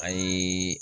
A ye